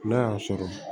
N'a y'a sɔrɔ